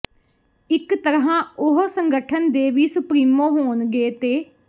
ਇਕ ਤਰ੍ਹਾਂ ਉਹ ਸੰਗਠਨ ਦੇ ਵੀ ਸੁਪਰੀਮੋ ਹੋਣਗੇ ਤੇ